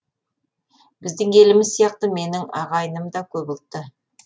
біздің еліміз сияқты менің ағайыным да көп ұлтты